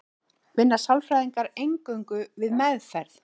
vinna sálfræðingar eingöngu við meðferð